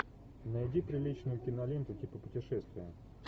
найди приличную киноленту типа путешествия